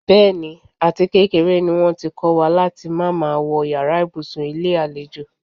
Bé̩è̩nì, àtikékeré ni wó̩n ti kó̩ wa láti má máa wo̩ yàrá ibùsùn ilé àlejò.